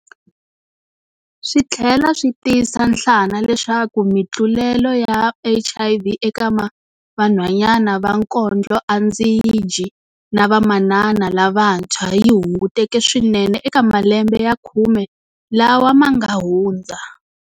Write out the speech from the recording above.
Swi tlhela swi tiyisa nhlana leswaku mitlulelo ya HIV eka vanhwanyana va kondloandzidyi na vamanana lavantshwa yi hunguteke swinene eka malembe ya khume lawa ma nga hundza.